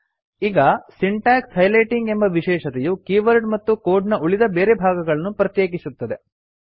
ಈ syntax highlighting ಎಂಬ ವಿಶೇಷತೆಯು ಕೀವರ್ಡ್ ಮತ್ತು ಕೋಡ್ ನ ಉಳಿದ ಬೇರೆ ಭಾಗಗಳನ್ನು ಪ್ರತ್ಯೆಕಿಸುತ್ತದೆ